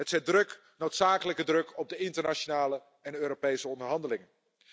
Het zet druk, noodzakelijke druk op de internationale en Europese onderhandelingen.